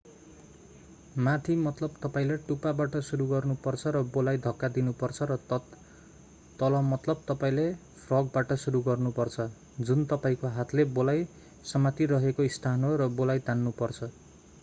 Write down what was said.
माथि मतलब तपाईंले टुप्पाबाट सुरु गर्नुपर्छ र बोलाई धक्का दिनु पर्छ र तल मतलब तपाईंले फ्रगबाट सुरु गर्नुपर्छ जुन तपाईंको हातले बोलाई समातिरहेको स्थान हो र बोलाई तान्नुपर्छ।